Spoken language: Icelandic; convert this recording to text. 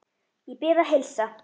Ég bið að heilsa